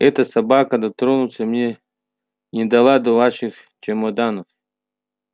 эта собака дотронуться мне не дала до ваших чемоданов